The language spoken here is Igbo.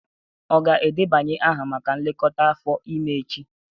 Ọ ga-edebanye aha maka nlekọta afọ ime echi?